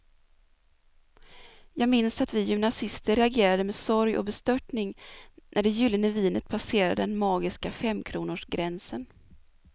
Jag minns att vi gymnasister reagerade med sorg och bestörtning när det gyllene vinet passerade den magiska femkronorsgränsen.